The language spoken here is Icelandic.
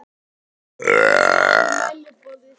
En það fer sem fara vill.